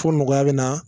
Fo nɔgɔya bɛ na